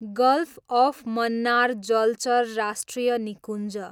golf of Mannar जलचर राष्ट्रिय निकुञ्ज